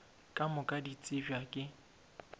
ka moka di tsebja ke